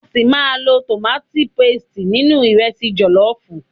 A ṣi máa lo tomati paste nínú ìrẹsi jọ̀lọ́fùú.